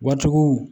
Waritigiw